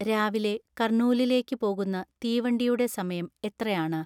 രാവിലെ കർണൂലിലേക്ക് പോകുന്ന തീവണ്ടിയുടെ സമയം എത്രയാണ്